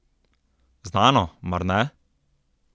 Znano, mar ne?